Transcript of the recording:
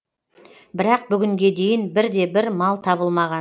бірақ бүгінге дейін бірде бір мал табылмаған